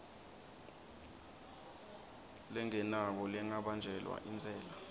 lengenako lengabanjelwa intsela